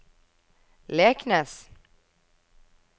Leknes